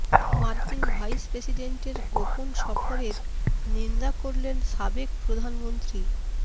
মার্কিন ভাইস প্রেসিডেন্টের গোপন সফরের নিন্দা করলেন সাবেক প্রধানমন্ত্রী